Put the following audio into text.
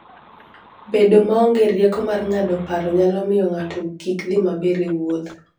Bedo maonge rieko mar ng'ado paro nyalo miyo ng'ato kik dhi maber e wuoth.